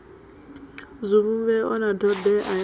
zwivhumbeo na thodea ya u